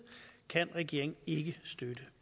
kan regeringen ikke støtte